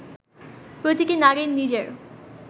প্রতিটি নারীর নিজের